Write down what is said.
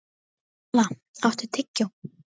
Dalla, áttu tyggjó?